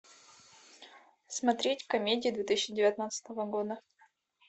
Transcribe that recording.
смотреть комедии две тысячи девятнадцатого года